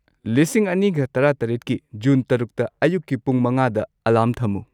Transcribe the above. ꯂꯤꯁꯤꯡ ꯑꯅꯤꯒ ꯇꯔꯥꯇꯔꯦꯠꯀꯤ ꯖꯨꯟ ꯇꯔꯨꯛꯇ ꯑꯌꯨꯛꯀꯤ ꯄꯨꯡ ꯃꯉꯥꯗ ꯑꯦꯂꯥꯔꯝ ꯊꯝꯃꯨ